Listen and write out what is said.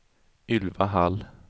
Ylva Hall